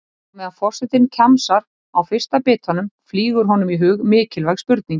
Á meðan forsetinn kjamsar á fyrsta bitanum flýgur honum í hug mikilvæg spurning.